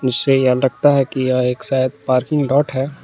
इससे यह लगता है कि यह एक शायद पार्किंग लोट है।